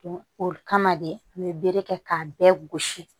o kama de an be bere kɛ k'a bɛɛ gosi